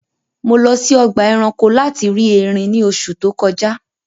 Mo lọ sí ọgba ẹ̀ránkò lati ri èrín ní òṣù tó kọ̀jà